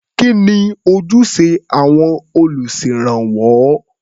Kí ni ojúṣe àwọn olùṣèrànwọ́?